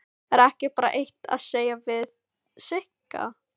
Er ekki bara eitt að segja við Sigga?